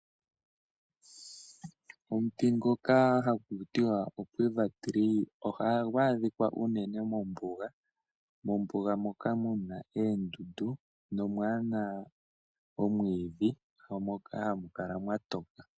Omuti ngoka hakutiwa o quiver tree oha gu adhika unene mombuga, moka muna eendndu, nomwaana omwiidhi moka ha mu kala nwa toka.